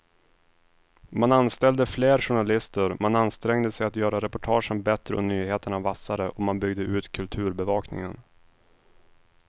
Man anställde fler journalister, man ansträngde sig att göra reportagen bättre och nyheterna vassare och man byggde ut kulturbevakningen.